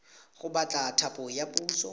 go batla thapo ya puso